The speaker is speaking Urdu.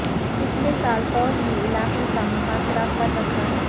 پچھلے سال فوج نے علاقے کا محاصرہ کر رکھا تھا